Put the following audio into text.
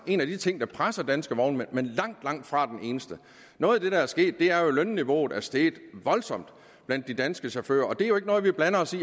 en af de ting der presser danske vognmænd men langtfra den eneste noget af det der er sket er jo at lønniveauet er steget voldsomt blandt de danske chauffører det er jo ikke noget vi blander os i